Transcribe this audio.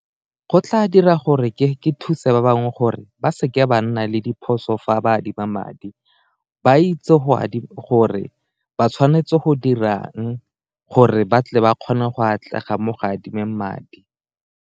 Go tla dira gore ke thuse ba bangwe gore ba seke ba nna le diphoso fa ba adima madi, ba itse gore ba tshwanetse go dirang gore batle ba kgone go atlega mo go adimeng madi.